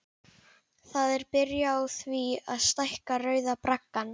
Það er byrjað á því að stækka Rauða braggann.